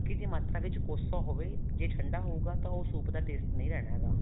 ਜੀ ਮਾਤਰਾ ਵਿੱਚ ਕੋਸਾ ਹੋਵੇ ਜੇ ਠੰਡਾ ਹਉਗਾ ਤਾਂ ਉਹ soup ਦਾ taste ਨਹੀਂ ਰਹਿਣਾ ਹੈਗਾ